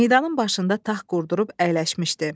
Meydanın başında taxt qurdurub əyləşmişdi.